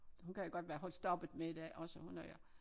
Hun kan godt være holdt stoppet med det også hun er